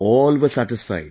All were satisfied